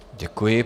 Děkuji.